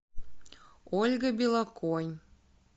ольга белоконь